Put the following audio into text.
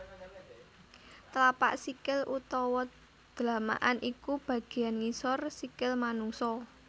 Tlapak sikil utawa dlamakan iku bagéan ngisor sikil manungsa